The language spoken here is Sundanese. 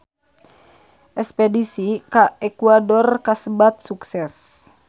Espedisi ka Ekuador kasebat sukses